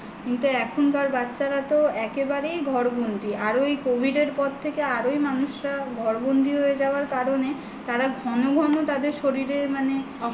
কিন্তু এখনকার বাচ্ছারা তো একেবারেই ঘরবন্দী আরো covid এর পর থেকে আরো মানুষেরা ঘরবন্দী হয়ে যাওয়ার কারণে তারা ঘন ঘন তাদের শরীরে মানে